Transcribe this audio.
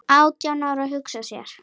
Átján ára, hugsa sér!